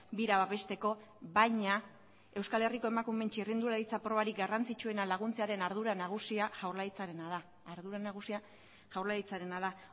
bira babesteko baina euskal herriko emakumeen txirrindularitza probarik garrantzitsuena laguntzearen ardura nagusia jaurlaritzarena da